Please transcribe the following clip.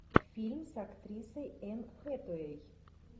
фильм с актрисой энн хэтэуэй